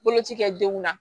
Boloci kɛ denw na